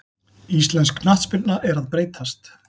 Íslensk knattspyrna er að breytast.